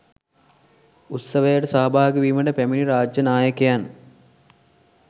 උත්සවයට සහභාගිවීමට පැමිණි රාජ්‍ය නායකයන්